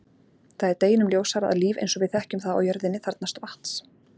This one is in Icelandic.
Það er deginum ljósara að líf eins og við þekkjum það á jörðinni þarfnast vatns.